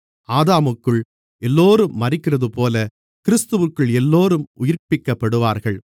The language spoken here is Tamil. ஆதாமுக்குள் எல்லோரும் மரிக்கிறதுபோல கிறிஸ்துவிற்குள் எல்லோரும் உயிர்ப்பிக்கப்படுவார்கள்